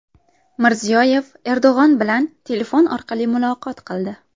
Mirziyoyev Erdo‘g‘on bilan telefon orqali muloqot qildi.